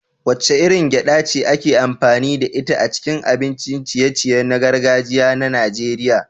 Wacce irin gyaɗa ce ake amfani da ita a cikin abincin ciye-ciye na gargajiya na Najeriya?